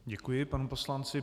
Děkuji panu poslanci.